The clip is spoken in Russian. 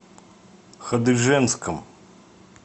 хадыженском